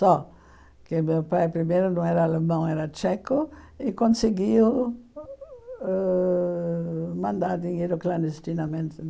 Só que meu pai primeiro não era alemão, era tcheco, e conseguiu ãh mandar dinheiro clandestinamente.